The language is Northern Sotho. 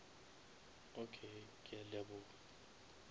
okay ke a leboga